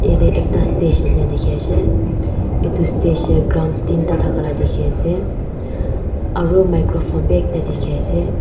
yatae ekta stage nishina dikhiase edu stage tae drums tinta thaka la dikhiase aru microphone bi ekta dikhiase.